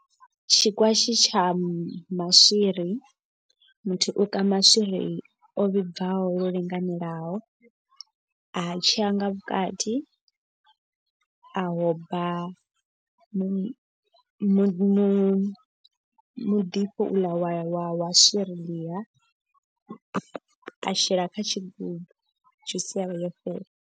Tshikwatshi tsha maswiri muthu u ka maswiri o vhibvaho lwo linganelaho. A tsheya nga vhukati ahoba mu mu mu muḓifho u ḽa wa wa wa swiri ḽia. A shela kha tshigubu tzhuzi ya vha yo fhela.